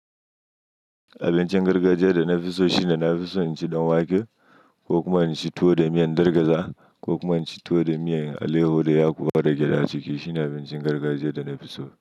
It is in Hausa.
Abincin gargajiya da na fi so shine na fi so in ci ɗan wake ko kuma in ci tuwo da miyan gargaza ko kuma in ci tuwo da miyan aleyaho da yakuwa da gyada ciki. Shine abincin gargajiya da na fi so.